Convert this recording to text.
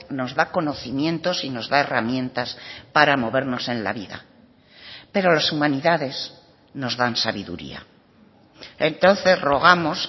nos da conocimientos y nos da herramientas para movernos en la vida pero las humanidades nos dan sabiduría entonces rogamos